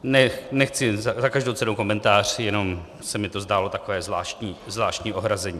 Nechci za každou cenu komentář, jenom se mi to zdálo takové zvláštní ohrazení.